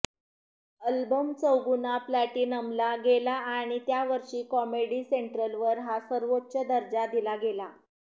album चौगुना प्लॅटिनमला गेला आणि त्या वर्षी कॉमेडी सेंट्रलवर हा सर्वोच्च दर्जा दिला गेला